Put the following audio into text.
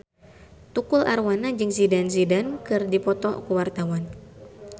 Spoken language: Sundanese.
Tukul Arwana jeung Zidane Zidane keur dipoto ku wartawan